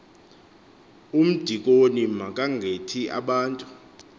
umdikoni makangakhethi abantu